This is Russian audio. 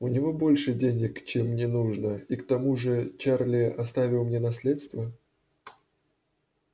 у него больше денег чем мне нужно и к тому же чарли оставил мне наследство